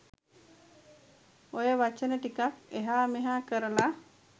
ඔය වචන ටිකක් එහා මෙහා කරලා